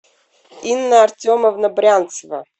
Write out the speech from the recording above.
инна артемовна брянцева